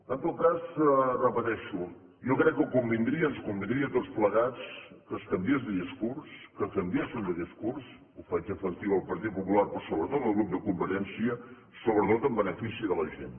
en tot cas ho repeteixo jo crec que convindria ens convindria a tots plegats que es canviés de discurs que canviessin de discurs ho faig efectiu al partit popular però sobretot al grup de convergència sobretot en benefici de la gent